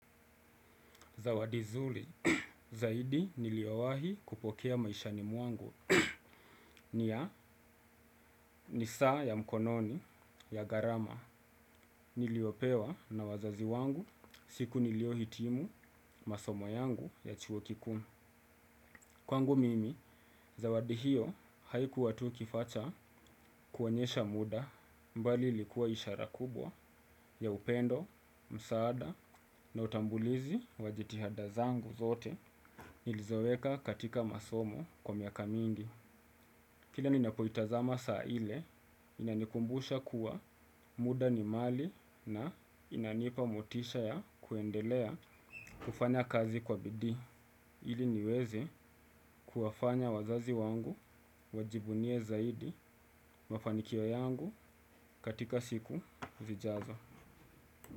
Zawadi zuri zaidi niliyowahi kupokea maishani mwangu ni ya ni saa ya mkononi ya gharama niliopewa na wazazi wangu siku niliyohitimu masomo yangu ya chuo kikuu. Kwangu mimi, zawadi hiyo haikuwa tu kifaa cha kuonyesha muda bali ilikuwa ishara kubwa ya upendo, msaada na utambulizi wa jitihada zangu zote nilizoweka katika masomo kwa miaka mingi. Kila ninapoitazama saa ile, inanikumbusha kuwa muda ni mali na inanipa motisha ya kuendelea kufanya kazi kwa bidii. Ili niweze kuwafanya wazazi wangu wajivunie zaidi mafanikio yangu katika siku vijazo.